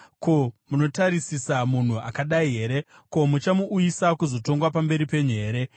Ko, munotarisisa munhu akadai here? Ko, muchamuuyisa kuzotongwa pamberi penyu here?